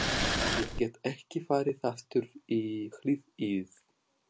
Ég get ekki farið aftur í hlið ið.